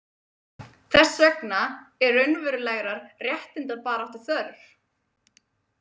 Þess vegna er raunverulegrar réttindabaráttu þörf.